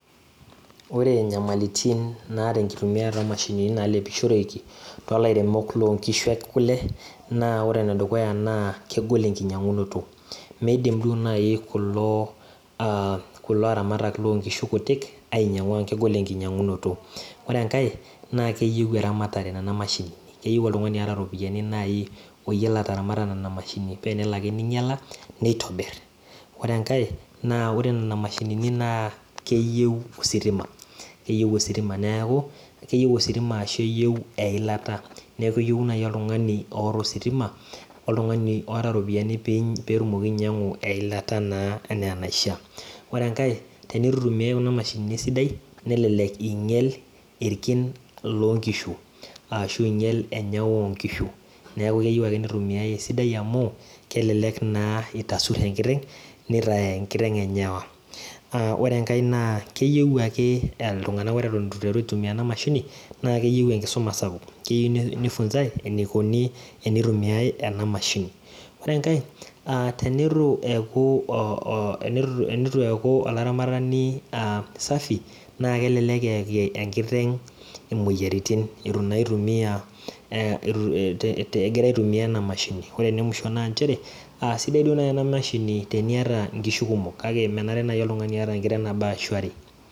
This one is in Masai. Ore nyamalitin nasta enkitumiata omashini nalepishoreki to kishu ekule naa ore enedukuya na kegol enkinyangunoto midim nai kulo aramatak lonkishu kutik ainyangu ore enkae na keyieu eramatare inamashini keyieu oltungani oata ropiyani oyiolo ataramata nona mashinini oaabtenelo ake ninyala nitobir ore nona mashinini na keyieu ositima ashu eyieu eilata enaa enaisha ore enkae na tenitu itumiai kuna mashinini esidai nelek inyal irkin lonkishu ashubenyawa onkishu neaku keyieu nitumia esidai amu kelelek itasur enkiteng nitaya enkiteng enyawa na ore enkae keyieu ltunganak enkisuma esidia atan itu itumia enamashini ore enkae tenitu eeaku olaramatani safi na kelelk eyaki enkiteng moyiaritin egira aitumia enamashini ore enemuisho na nchere sidai duo nai enamashini teniata nkishu kumok menare nai oltungani oata nkishu are